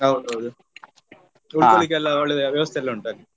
ಹೌದೌದು ಉಳ್ಕೊಳಿಕ್ಕೆ ಎಲ್ಲ ಒಳ್ಳೆ ವ್ಯವಸ್ಥೆ ಎಲ್ಲ ಉಂಟು ಅಲ್ಲಿ.